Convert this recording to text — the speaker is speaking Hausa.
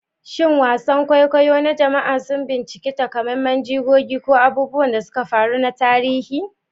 Shin wasan kwaikwayo na jama'a sun bincika takamaiman jigogi ko abubuwan da suka faru na tarihi?